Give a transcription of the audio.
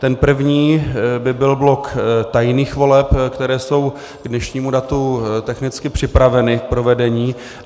Ten první by byl blok tajných voleb, které jsou k dnešnímu datu technicky připraveny k provedení.